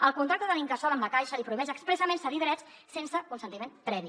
el contracte de l’incasòl amb la caixa li prohibeix expressament cedir drets sense consentiment previ